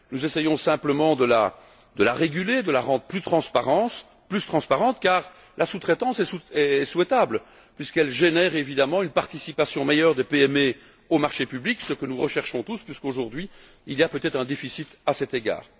Nous essayons simplement de la réguler, de la rendre plus transparente car la sous traitance est souhaitable puisqu'elle génère, évidemment, une participation meilleure des PME aux marchés publics, ce que nous recherchons tous puisque, aujourd'hui, il y a peut être un déficit à cet égard.